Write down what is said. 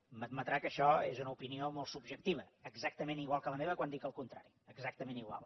m’admetrà que això és una opinió molt subjectiva exactament igual que la meva quan dic el contrari exactament igual